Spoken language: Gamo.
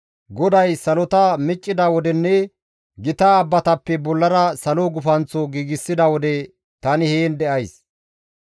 GODAY salota miccida wodenne gita abbatappe bollara salo gufanththo giigsida wode tani heen de7ays.